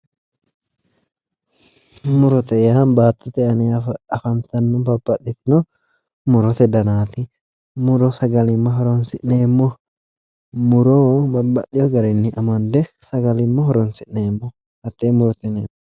Murote yaa baattote aana afantanno babbaxxitino murote danaati. Muro sagalimma horoonsi'neemmo. Muro babbaxxeyo garinni amande sagalimma horoonsi'neemmo hattee murote yineemmo.